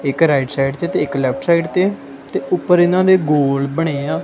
ਇੱਕ right side 'ਚ ਤੇ ਇੱਕ ਲੈਫਟ ਸਾਈਡ ਤੇ ਤੇ ਉੱਪਰ ਇਹਨਾਂ ਨੇ ਗੋਲ ਬਣਿਆ ਏ ਆ।